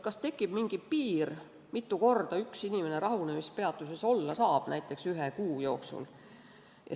Kas tekib mingi piir, mitu korda üks inimene rahunemispeatuses olla saab, näiteks ühe kuu jooksul?